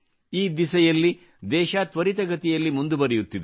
ಈ ದಿಸೆಯಲ್ಲಿ ದೇಶ ತ್ವರಿತಗತಿಯಲ್ಲಿ ಮುಂದುವರಿಯುತ್ತಿದೆ